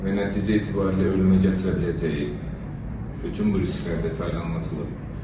Və nəticə etibarı ilə ölümə gətirə biləcəyi bütün bu risklər detallı anlatılıb.